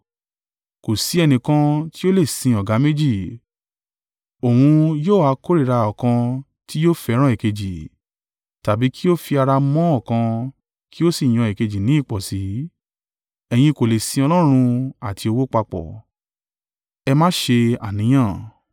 “Kò sì í ẹnìkan tí ó lè sin ọ̀gá méjì. Òun yóò yà kórìíra ọ̀kan tí yóò fẹ́ràn èkejì, tàbí kí ó fi ara mọ́ ọ̀kan kí ó sì yan èkejì ní ìpọ̀sí. Ẹ̀yin kò lè sin Ọlọ́run àti owó papọ̀.